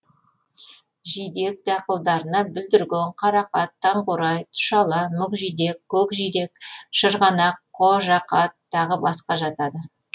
жидек дақылдарына бүлдірген қарақат таңқурай тұшала мүкжидек көкжидек шырғанақ қожақат тағы басқа жатады